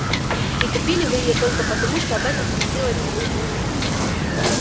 и купили вы её только потому что об этом просила дикси